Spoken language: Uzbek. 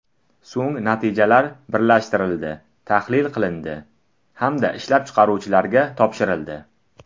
So‘ng, natijalar birlashtirildi, tahlil qilindi hamda ishlab chiqaruvchilarga topshirildi.